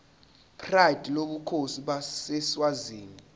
pride lobukhosi baseswazini